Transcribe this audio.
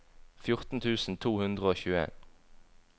fjorten tusen to hundre og tjueen